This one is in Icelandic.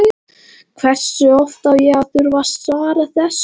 Hversu oft á ég að þurfa að svara þessu?